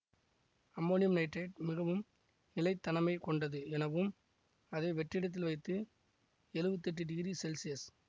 ammonium nitrate மிகவும் நிலை தனமை கொண்டது எனவும் அதை வெற்றிடத்தில் வைத்து எழுவத்தி எட்டு டிகிரி சென்சியெஸ்